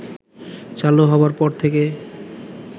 চালু হবার পর থেকে